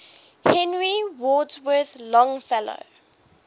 henry wadsworth longfellow